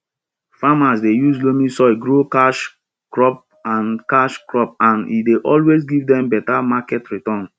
farmers dey use loamy soil grow cash cropand cash cropand e dey always give dem better market return